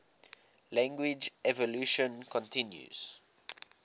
language evolution continues